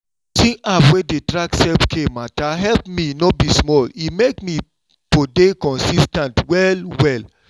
using app wey dey track self-care matter help me no be small e make me for dey consis ten t well well.